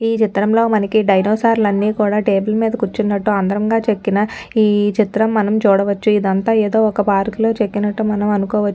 ఈ చిత్రంలో మనకి డైనోసార్ లన్ని కూడా టేబుల్ మీద కుర్చున్నటు అందంగా చెక్కిన ఈ చిత్రం మనం చూడవచ్చు ఇదంతా ఒక్క ఏదో పార్క్ లో చెక్కినట్టు మనం అనుకోవ --